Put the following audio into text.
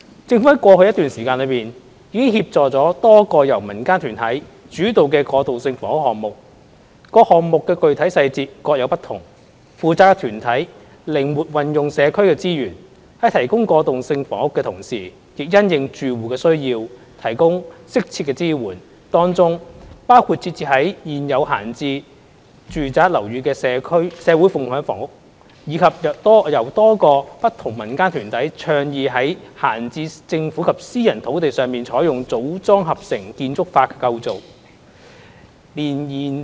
政府在過去的一段時間內，已協助了多個由民間團體主導的過渡性房屋項目，各項目的具體細節各有不同，負責團體靈活運用社區資源，在提供過渡性房屋的同時，亦因應住戶的需要，提供適切的支援，當中包括設置於現有閒置住宅樓宇的社會共享房屋，以及多個由不同民間團體倡議於閒置政府及私人土地上採用"組裝合成"建築法的構建。